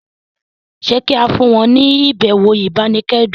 ṣe ki a fún wọn ni ibẹwo ibanikẹdun?